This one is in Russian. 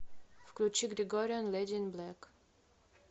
включи грегориан леди ин блэк